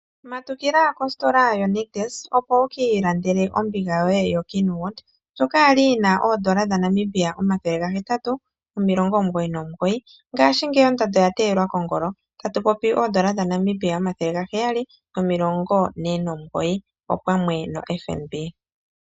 Matukila kositola yonictus opo wukiilandele ombiga ndjoka yokeenwood ndjoka kwali yina N$899 ngaashi ngeyi ondando oya teyelwa kongolo paife otayi monika owala koN$749.